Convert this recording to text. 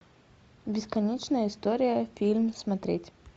бесконечная история фильм смотреть